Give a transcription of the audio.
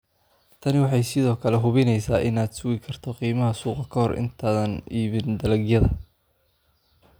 Tani waxay sidoo kale hubineysaa inaad sugi karto qiimaha suuqa ka hor inta aadan iibin dalagyada